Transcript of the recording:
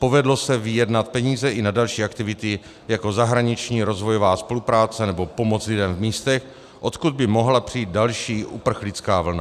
Povedlo se vyjednat peníze i na další aktivity, jako zahraniční rozvojová spolupráce nebo pomoc lidem v místech, odkud by mohla přijít další uprchlická vlna.